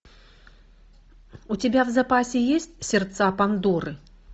у тебя в запасе есть сердца пандоры